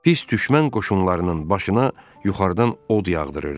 Pis düşmən qoşunlarının başına yuxarıdan od yağdırırdı.